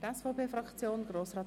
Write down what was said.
Ich habe es bereits gesagt.